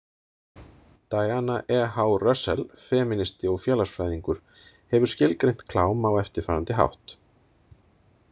Diana E H Russell, femínisti og félagsfræðingur, hefur skilgreint klám á eftirfarandi hátt